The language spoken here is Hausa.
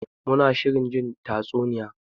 Muna shirin zuwa jin tatsuniya.